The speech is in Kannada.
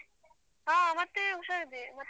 ಹ ಮತ್ತೆ ಹುಷಾರಿದ್ದೇವೆ.